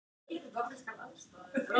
Hlátur og meiri hlátur.